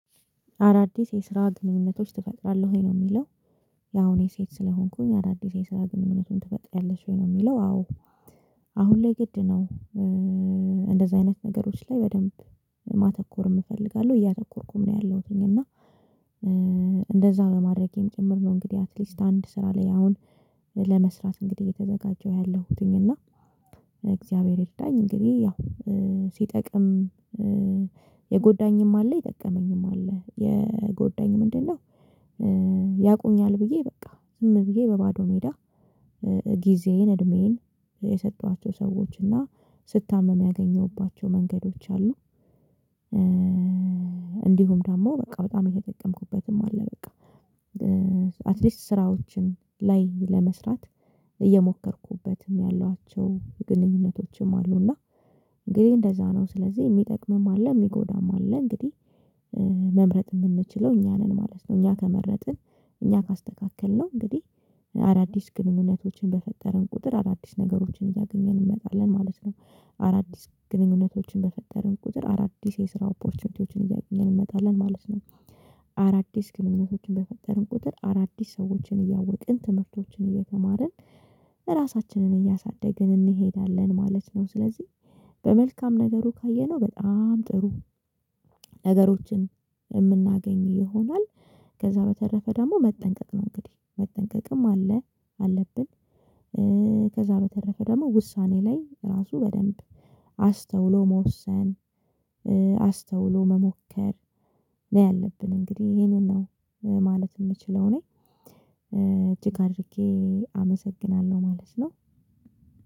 አዳዲስ የስራ ግንኙነቶች ትፈጥራለህ ወይ ነው የሚለው? ያው እኔ ሴት ስለሆንኩኝ አዳዲስ የስራ ግንኙነቱን ትፈጥራለሽ ወይ ነው የሚለው? አዎ አሁን ላይ ግድ ነው። እንደዛ አይነት ነገሮች ላይ በደንብ ማተኮር እፈልጋለሁ እያተኮርኩም ነው ያለሁትኝ። እና እንደዛ በማድረጌም ጭምር ነው እንግዲህ አትሊስት አንድ ስራ ላይ አሁን ለመስራት እንግዲህ የተዘጋጀሁ ያለሁትኝ እና እግዚአብሔር ይርዳኝ። እንግዲህ ያው ሲጠቅም የጎዳኝም አለ ይጠቀመኝም አለ የጎዳኝ ምንድነው? ያቁኛል ብዬ በቃ ዝም ብዬ በባዶ ሜዳ ጊዜዬን እድሜዬን የሰጧቸው ሰዎች እና ስታምም ያገኘሁባቸው መንገዶች አሉ። እንዲሁም ደግሞ በቃ በጣም የተጠቀምኩበትም አለ። በቃ አትሊስት ስራዎችን ላይ ለመስራት እየሞከርኩበትም ያሏቸው ግንኙነቶችም አሉ። እና እንግዲህ እንደዛ ነው ስለዚህ የሚጠቅምም አለ የሚጎዳም አለ እንግዲህ መምረጥ የምንችለው እኛ ነን ማለት ነው። እኛ ከመረጥን እኛ ካስተካከልነው እንግዲህ አዳዲስ ግንኙነቶችን በፈጠርን ቁጥር አዳዲስ ነገሮችን እያገኘን እንመጣለን ማለት ነው። አዳዲስ ግንኙነቶችን በፈጠርን ቁጥር አዳዲስ የስራ ኦፖርቹኒቲዎችን እያገኘን እንመጣለን ማለት ነው። አዳዲስ ግንኙነቶችን በፈጠርን ቁጥር አዳዲስ ሰዎችን እያወቅን ትምህርቶችን እየተማርን ራሳችንን እያሳደገን እንሄዳለን ማለት ነው። ስለዚህ በመልካም ነገሩ ካየነው በጣም ጥሩ ነገሮችን የምናገኝ ይሆናል። ከዛ በተረፈ ደግሞ መጠንቀቅ ነው እንግዲህ መጠንቀቅም አለ አለብን። ከዛ በተረፈ ደግሞ ውሳኔ ላይ ራሱ በደንብ አስተውሎ መወሰን አስተውሎ መሞከር ነው ያለብን እንግዲህ ይሄንን ነው። ማለት የምችለው እኔ እጅግ አድርጌ አመሰግናለሁ ማለት ነው።